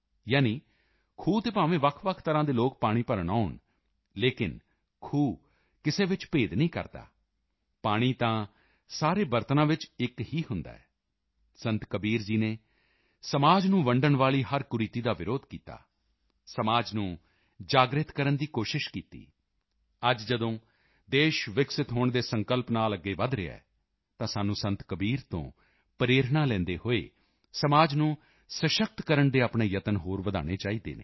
ਯਾਨੀ ਖੂਹ ਤੇ ਭਾਵੇਂ ਵੱਖਵੱਖ ਤਰ੍ਹਾਂ ਦੇ ਲੋਕ ਪਾਣੀ ਭਰਨ ਆਉਣ ਲੇਕਿਨ ਖੂਹ ਕਿਸੇ ਵਿੱਚ ਭੇਦ ਨਹੀਂ ਕਰਦਾ ਪਾਣੀ ਤਾਂ ਸਾਰੇ ਬਰਤਨਾਂ ਵਿੱਚ ਇੱਕ ਹੀ ਹੁੰਦਾ ਹੈ ਸੰਤ ਕਬੀਰ ਜੀ ਨੇ ਸਮਾਜ ਨੂੰ ਵੰਡਣ ਵਾਲੀ ਹਰ ਕੁਰੀਤੀ ਦਾ ਵਿਰੋਧ ਕੀਤਾ ਸਮਾਜ ਨੂੰ ਜਾਗ੍ਰਿਤ ਕਰਨ ਦੀ ਕੋਸ਼ਿਸ਼ ਕੀਤੀ ਅੱਜ ਜਦੋਂ ਦੇਸ਼ ਵਿਕਸਿਤ ਹੋਣ ਦੇ ਸੰਕਲਪ ਨਾਲ ਅੱਗੇ ਵਧ ਰਿਹਾ ਹੈ ਤਾਂ ਸਾਨੂੰ ਸੰਤ ਕਬੀਰ ਤੋਂ ਪ੍ਰੇਰਣਾ ਲੈਂਦੇ ਹੋਏ ਸਮਾਜ ਨੂੰ ਸਸ਼ਕਤ ਕਰਨ ਦੇ ਆਪਣੇ ਯਤਨ ਹੋਰ ਵਧਾਉਣੇ ਚਾਹੀਦੇ ਹਨ